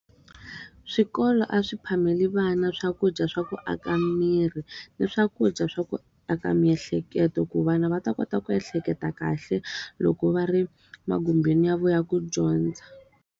Swikolo a swi phameli vana swakudya swa ku aka miri, na swakudya swa ku aka miehleketo ku vana va ta kota ku ehleketa kahle, loko va ri magumbeni ya vona ya ku dyondza.